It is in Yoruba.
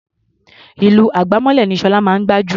Ìlù àgbámọ́lẹ̀ ni Ṣọlá mọ̀ ọ́n gbá jù.